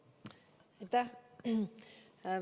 Aitäh!